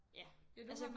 Ja altså